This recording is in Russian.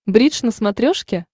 бридж на смотрешке